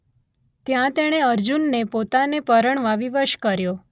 ત્યાં તેણે અર્જુનને પોતાને પરણવા વિવશ કર્યો